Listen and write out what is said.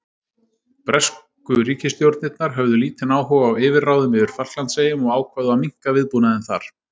Bresku ríkisstjórnirnar höfðu lítinn áhuga á yfirráðum yfir Falklandseyjum og ákváðu að minnka viðbúnaðinn þar.